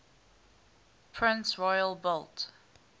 prince royal built